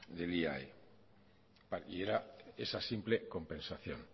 del iae y era esa simple compensación